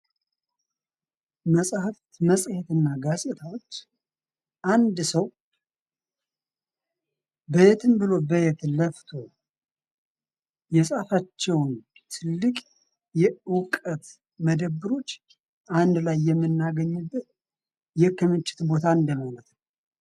መጽሃፍት መጽሄት እና ጋዜጣዎች። አንድ ሰው በየትም ብሎ በየትም ለፍቶ የፃፋቸውን ትልቅ የዕውቀት መደብሮች አንድ ላይ የምናገኝበት የክምችት ቦታ እንደማለት ነው።